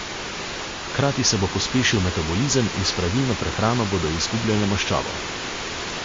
Hkrati se bo pospešil metabolizem in s spravilno prehrano bodo izgubljale maščobo.